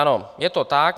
Ano, je to tak.